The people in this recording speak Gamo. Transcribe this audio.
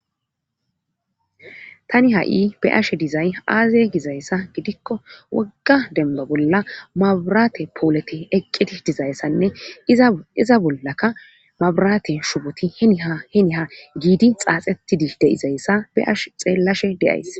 Tani ha7i be ashe dizay aaze gizayssa gidikko wogga dembo bolla maburate poolete eqqeti dizayssanne iza bollakka maburate shuboti heni ha heni ha giidi xaaxetidi deizayssa be ash xeellashe deays